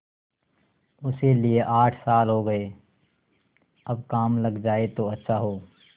उसे लिये आठ साल हो गये अब काम लग जाए तो अच्छा हो